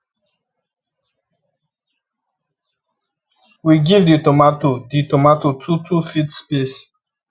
we give di tomato di tomato two two feet space